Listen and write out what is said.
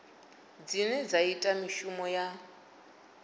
dzine dza ita mishumo ya